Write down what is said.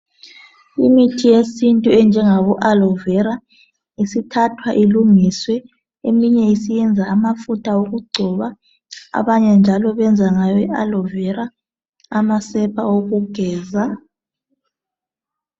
Imithi yesintu enjengabo aloe vera, isithathwa ilungiswe eminye isiyenza amafutha okugcoba. Abanye njalo benza ngayo ialoe vera, amasepa okugeza.